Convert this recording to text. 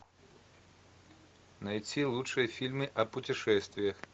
найти лучшие фильмы о путешествиях